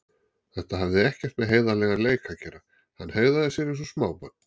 Þetta hafði ekkert með heiðarlegan leik að gera, hann hegðaði sér eins og smábarn.